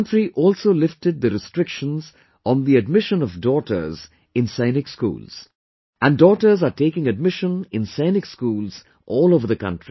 The country also lifted the restrictions on the admission of daughters in Sainik Schools, and daughters are taking admission in Sainik Schools all over the country